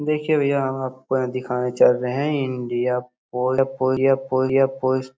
देखिए भैया हम आपको यहां दिखाने चल रहे हैं इंडिया पोल पोलिया पोलिया पोलिया पोस्ट ।